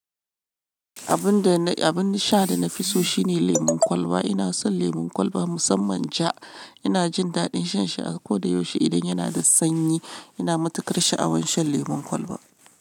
Abun da ni, abun sha da na fi so shine lemon kwalba. Ina son lemon kwalba musamman ja. Ina jin daɗin shan shi a koda yaushe idan yana da sanyi. Ina matukar sha'awan shan lemon kwalba.